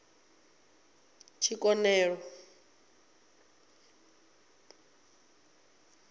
tshikonelo